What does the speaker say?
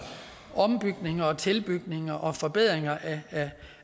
ombygninger tilbygninger og forbedringer